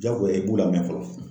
Jagoya i b'u lamɛn fɔlɔ.